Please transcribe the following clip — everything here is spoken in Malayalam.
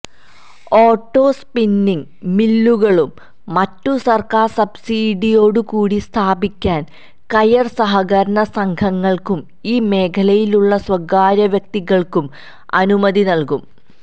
ഓട്ടോ സ്പിന്നിങ് മില്ലുകളും മറ്റും സര്ക്കാര് സബ്സിഡിയോടുകൂടി സ്ഥാപിക്കാന് കയര് സഹകരണസംഘങ്ങള്ക്കും ഈ മേഖലയിലുള്ള സ്വകാര്യവ്യക്തികള്ക്കും അനുമതി നല്കും